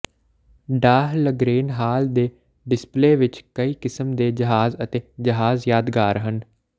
Dahlgren Hall ਦੇ display ਵਿਚ ਕਈ ਕਿਸਮ ਦੇ ਜਹਾਜ਼ ਅਤੇ ਜਹਾਜ਼ ਯਾਦਗਾਰ ਹਨ